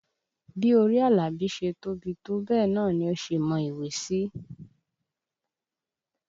Bí orí Àlàbí ṣe tóbi tó bẹ́ẹ̀ náà ni ó ṣe mọ ìwé sí